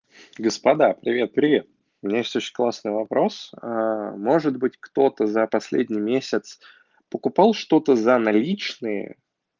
господа привет привет у меня есть классный вопрос может быть кто-то за последний месяц покупал что-то за наличные